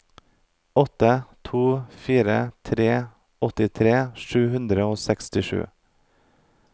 åtte to fire tre åttitre sju hundre og sekstisju